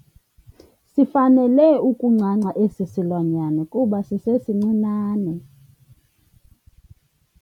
Sifanele ukuncanca esi silwanyana kuba sisesincinane.